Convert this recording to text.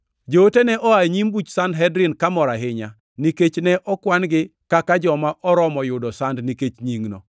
Joote ne oa e nyim buch Sanhedrin kamor ahinya, nikech ne okwan-gi kaka joma oromo yudo sand nikech Nyingno.